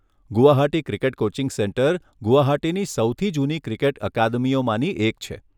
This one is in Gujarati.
ગુવાહાટી ક્રિકેટ કોચિંગ સેન્ટર ગુવાહાટીની સૌથી જૂની ક્રિકેટ અકાદમીઓમાંની એક છે.